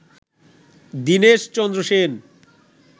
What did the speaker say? Dineshchandra Sen